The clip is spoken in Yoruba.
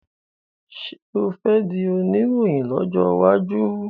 ṣe o fè dì Oníròhìn lójó waju?